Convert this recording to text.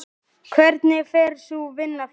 Hvernig fer sú vinna fram?